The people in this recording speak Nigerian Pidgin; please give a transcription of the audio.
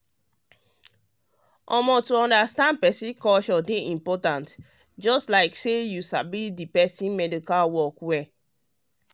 um to understand person culture dey important just like say you sabi the you sabi the medical work well.